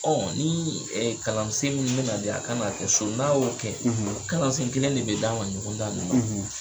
ni kalansen min bɛna di, a kan k'a kɛ so n'a y'o kɛ, , kalansen kelen de bɛ d'a ma ɲɔgɔndan nin na o.